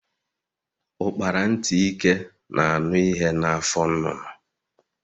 Ukpara ntị ike na anụ ihe na afọ nnụnụ.